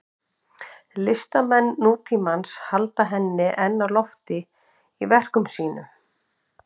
Listamenn nútímans halda henni enn á lofti í verkum sínum.